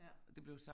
Ja